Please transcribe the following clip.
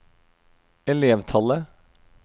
elevtallet